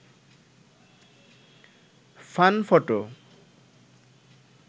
fun photo